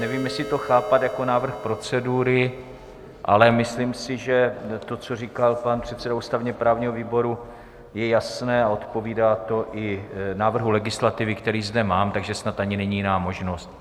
Nevím, jestli to chápat jako návrh procedury, ale myslím si, že to, co říkal pan předseda ústavně-právního výboru, je jasné a odpovídá to i návrhu legislativy, který zde mám, takže snad ani není jiná možnost.